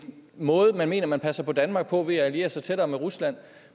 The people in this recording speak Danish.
måde man mener man passer på danmark på ved at alliere sig tættere med rusland